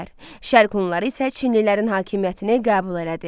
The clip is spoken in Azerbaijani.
Şərq Hunları isə çinlilərin hakimiyyətini qəbul elədi.